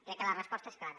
crec que la resposta és clara